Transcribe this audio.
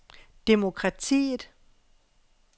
demokratiet